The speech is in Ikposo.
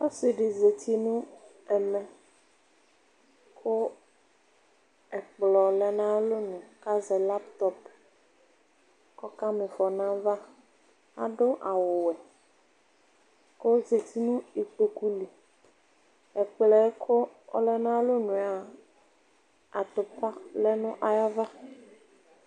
Ɔsɩ dɩ zati nʋ ɛmɛ kʋ ɛkplɔ lɛ nʋ ayʋ alɔnu kʋ azɛ laptɔp kʋ ɔkama ɩfɔ nʋ ayava Adʋ awʋwɛ kʋ ɔzati nʋ ikpoku li Ɛkplɔ yɛ kʋ ɔlɛ nʋ ayʋ alɔnu yɛ a, atʋpa lɛ nʋ ayava